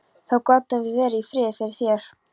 Þá gátum við verið í friði fyrir þér!